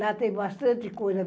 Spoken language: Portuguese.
Lá tem bastante coisa.